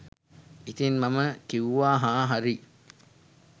ඉතින් මම කිව්වා හා හරි